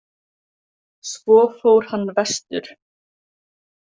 Svo fór hann vestur.